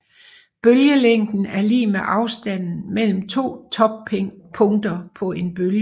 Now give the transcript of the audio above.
Bølgelængden er lig med afstanden mellem to toppunkter på en bølge